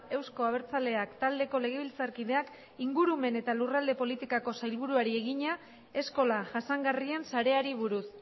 euzko abertzaleak taldeko legebiltzarkideak ingurumen eta lurralde politikako sailburuari egina eskola jasangarrien sareari buruz